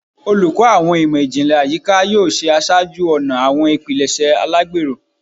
Oluko Awọn Imọ-jinlẹ Ayika yoo ṣe aṣáájú-ọnà awọn ipilẹṣẹ alagbero